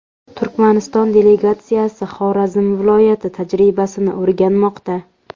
Turkmaniston delegatsiyasi Xorazm viloyati tajribasini o‘rganmoqda.